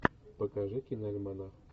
покажи киноальманах